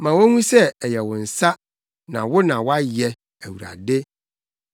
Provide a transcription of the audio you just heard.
Ma wonhu sɛ ɛyɛ wo nsa, na wo na woayɛ, Awurade.